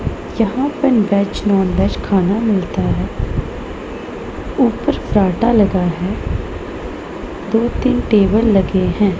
यहां पर veg non veg खाना मिलता है ऊपर फर्राटा लगा है दो तीन टेबल लगे हैं।